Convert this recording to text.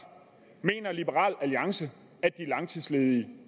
mener liberal alliance at de langtidsledige